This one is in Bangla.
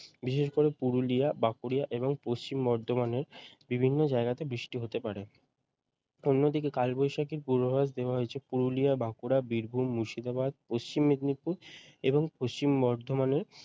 বিশেষ করে পুরুলিয়া বাঁকুড়া এবং পশ্চিম বর্ধমানের বিভিন্ন জায়গাতে বৃষ্টি হতে পারে অন্যদিকে কালবৈশাখীর পূর্বাভাস দেওয়া হয়েছে পুরুলিয়া বাঁকুড়া বীরভূম মুর্শিদাবাদ পশ্চিম মেদিনীপুর এবং পশ্চিম বর্ধমানের